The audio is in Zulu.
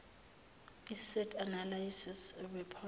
iseed analysis report